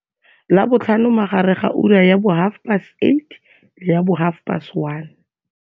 Labotlhano magareng ga ura ya bo 08h30 le ya bo 13h30.